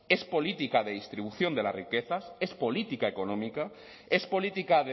es política de distribución de la riquezas es política económica es política